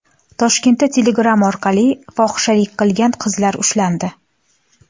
Toshkentda Telegram orqali fohishalik qilgan qizlar ushlandi.